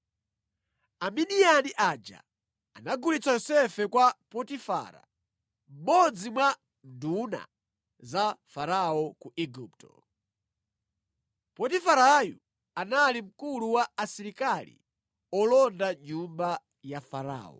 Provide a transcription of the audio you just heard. Amidiyani aja anagulitsa Yosefe kwa Potifara, mmodzi mwa nduna za Farao ku Igupto. Potifarayu anali mkulu wa asilikali olonda nyumba ya Farao.